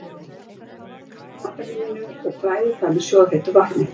Hellið kalda vatninu af matarlíminu og bræðið það með sjóðheitu vatninu.